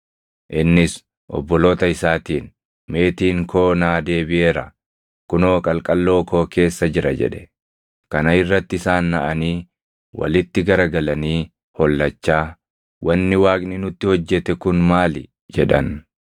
Innis obboloota isaatiin, “Meetiin koo naa deebiʼeera; kunoo qalqalloo koo keessa jira” jedhe. Kana irratti isaan naʼanii walitti garagalanii hollachaa, “Wanni Waaqni nutti hojjete kun maali?” jedhan.